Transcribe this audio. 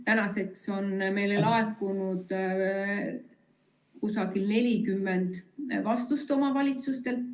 Tänaseks on meile laekunud umbes 40 vastust omavalitsustelt.